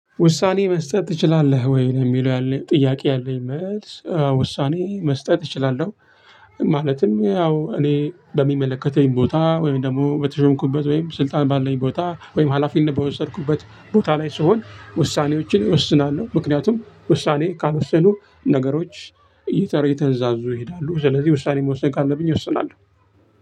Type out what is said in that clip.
ውሳኔ መስጠት ትችላለህ ወይ ነው የሚለው ያለኝ ጥያቄ ያለኝ መልስ ውሳኔ መስጠት እችላለሁ። ማለትም ያው እኔ በሚመለከተኝ ቦታ ወይም ደግሞ በተሾምኩበት ወይም ስልጣን ባለኝ ቦታ ወይም ሀላፊነት በወሰድኩበት ቦታ ላይ ስሆን ውሳኔዎችን እወስናለሁ። ምክንያቱም ውሳኔ ካልወሰኑ ነገሮች እየተንዛዙ ይሄዳሉ። ስለዚህ ውሳኔ መወሰን ካለብኝ እወስናለሁ።